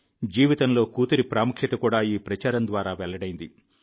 జీవితంలో కూతురి ప్రాముఖ్యత కూడా ఈ ప్రచారం ద్వారా వెల్లడైంది